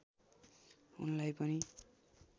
उनलाई पनि